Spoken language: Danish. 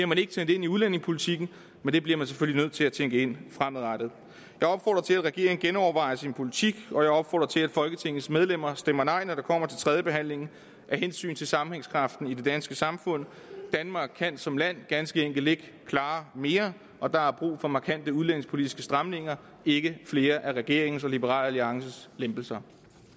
man ikke tænkt ind i udlændingepolitikken men det bliver man selvfølgelig nødt til at tænke ind fremadrettet jeg opfordrer til at regeringen genovervejer sin politik og jeg opfordrer til at folketingets medlemmer stemmer nej når det kommer til tredjebehandlingen af hensyn til sammenhængskraften i det danske samfund danmark kan som land ganske enkelt ikke klare mere og der er brug for markante udlændingepolitiske stramninger ikke flere af regeringens og liberal alliances lempelser